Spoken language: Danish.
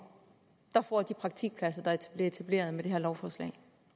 der får de praktikpladser der bliver etableret med det her lovforslag